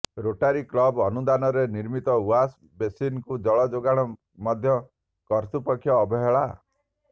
Rotary club ଅନୁଦାନରେ ନିର୍ମିତ wash ବେସିନକୁ ଜଳ ଯୋଗାଣ ମଧ୍ୟ କାର୍ତ୍ୟୁପକ୍ଷ ଅବହେଳା